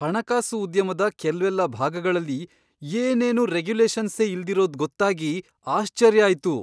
ಹಣಕಾಸು ಉದ್ಯಮದ ಕೆಲ್ವೆಲ್ಲ ಭಾಗಗಳಲ್ಲಿ ಏನೇನೂ ರೆಗ್ಯುಲೇಷನ್ಸೇ ಇಲ್ದಿರೋದ್ ಗೊತ್ತಾಗಿ ಆಶ್ಚರ್ಯ ಆಯ್ತು.